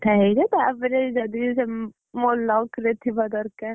ହେଇଜା ତାପରେ ଯଦି ସେ, ମୋ luck ରେ ଥିବା ଦରକାର।